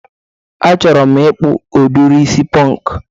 A chọrọ m ịkpụ udiri isi pọnk